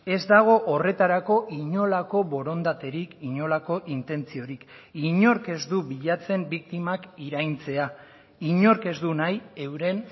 ez dago horretarako inolako borondaterik inolako intentziorik inork ez du bilatzen biktimak iraintzea inork ez du nahi euren